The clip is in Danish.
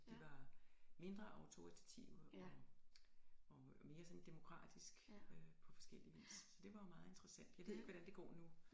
De var mindre autoritative og og mere sådan demokratisk på forskellig vis så det var jo meget interessant jeg ved ikke hvordan det går nu